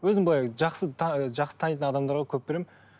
өзім былай жақсы жақсы танитын адамдарға көп беремін